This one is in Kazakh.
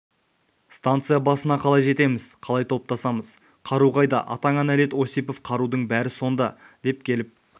станция басына қалай жетеміз қалай топтасамыз қару қайда атаңа нәлет осипов қарудың бәрі сонда деп келіп